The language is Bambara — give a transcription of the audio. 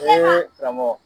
karamɔgɔ.